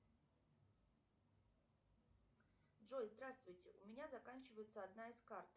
джой здравствуйте у меня заканчивается одна из карт